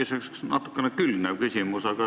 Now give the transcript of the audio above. Mul tekkis üks natukene teemaga külgnev küsimus.